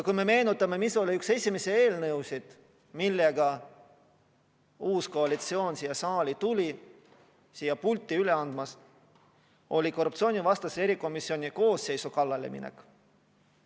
Kui me meenutame, mis oli üks esimesi eelnõusid, millega uus koalitsioon siia saali tuli: see oli korruptsioonivastase erikomisjoni koosseisu kallale minek.